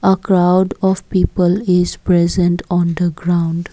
a crowd of people is present on the ground.